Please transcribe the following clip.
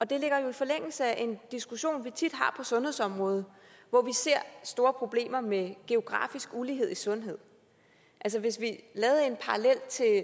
det ligger jo i forlængelse af en diskussion vi tit har på sundhedsområdet hvor vi ser store problemer med geografisk ulighed i sundhed altså hvis vi lavede en parallel til